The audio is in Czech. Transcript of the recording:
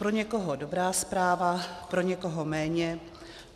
Pro někoho dobrá zpráva, pro někoho méně.